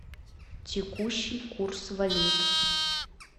текущий курс валют